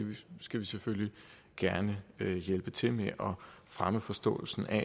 skal selvfølgelig gerne hjælpe til med at fremme forståelsen af